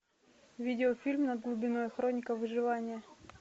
видеофильм над глубиной хроника выживания